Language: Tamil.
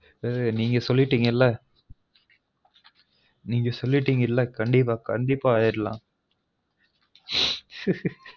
நீங்க சொல்லீட்டிங்கல நீங்க சொல்லீட்டீங்கல கண்டீப்பா கண்டீப்பா ஆயிடலான் ஹா ஹா